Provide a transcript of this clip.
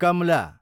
Kamala